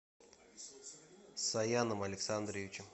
саяном александровичем